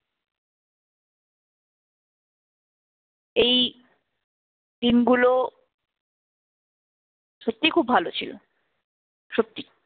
এই দিনগুলো সত্যিই খুব ভালো ছিল, সত্যি।